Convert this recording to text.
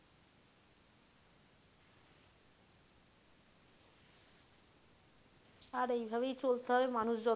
আর এইভাবেই চলতে হবে মানুষ,